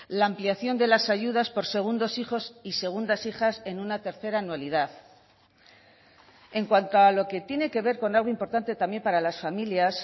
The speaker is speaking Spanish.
la ampliación de las ayudas por segundos hijos y segundas hijas en una tercera anualidad en cuanto a lo que tiene que ver con algo importante también para las familias